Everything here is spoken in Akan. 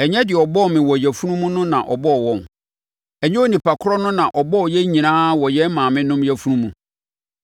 Ɛnyɛ deɛ ɔbɔɔ me wɔ yafunu mu no na ɔbɔɔ wɔn? Ɛnyɛ onipa korɔ no na ɔbɔɔ yɛn nyinaa wɔ yɛn maamenom yafunu mu?